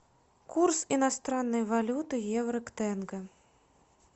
курс иностранной валюты евро к тенге